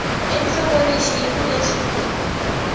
enhlokweni xiyimo lexi u nga